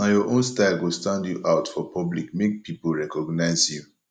nah your own style go stand you out for public make pipo recognize you